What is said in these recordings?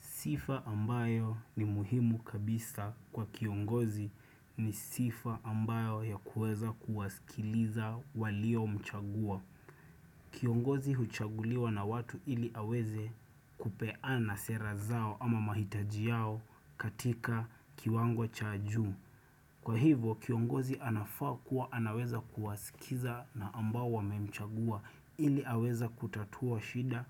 Sifa ambayo ni muhimu kabisa kwa kiongozi ni sifa ambayo ya kuweza kuwasikiliza walio mchagua. Kiongozi huchaguliwa na watu ili aweze kupeana sera zao ama mahitaji yao katika kiwangwo cha juu. Kwa hivo kiongozi anafaa kuwa anaweza kuwasikiza na ambao wamemchagua ili aweza kutatua shida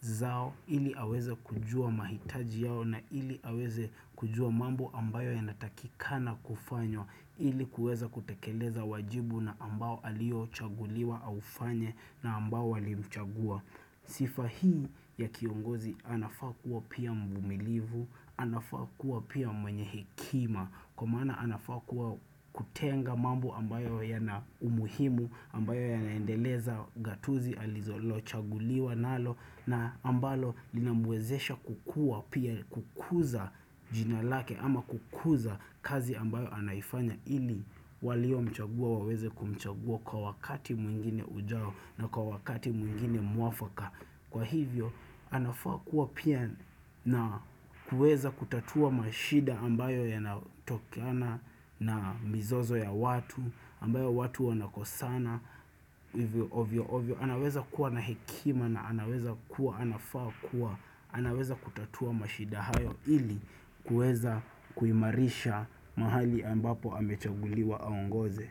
zao ili aweza kujua mahitaji yao na ili aweze kujua mambo ambayo ya natakikana kufanywa ili kueza kutekeleza wajibu na ambao aliochaguliwa aufanye na ambao walimchagua. Sifa hii ya kiongozi anafaa kuwa pia mvumilivu, anafaa kuwa pia mwenye hekima, kwa maana anafaa kuwa kutenga mambo ambayo yana umuhimu, ambayo ya naendeleza gatuzi, alizo chaguliwa nalo na ambalo linamwezesha kukuwa pia kukuza jina lake ama kukuza kazi ambayo anaifanya ili walio mchagua waweze kumchagua kwa wakati mwingine ujao na kwa wakati mwingine muafaka Kwa hivyo, anafaa kuwa pia na kuweza kutatua mashida ambayo yanatokoana na mizozo ya watu ambayo watu wanakosana, hivyo ovyo ovyo anaweza kuwa na hekima na anaweza kuwa, anafaa kuwa anaweza kutatua mashida hayo ili kuweza kuimarisha mahali ambapo amechaguliwa aongoze.